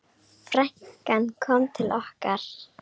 Frænkan kom til okkar.